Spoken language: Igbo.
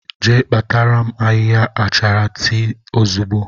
Jee kpatara m ahịhịa achara tii ozugbo!